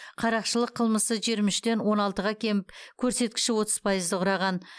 қарақшылық қылмысы жиырма үштен он алтыға кеміп көрсеткіші отыз пайызды құраған